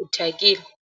u thyakile.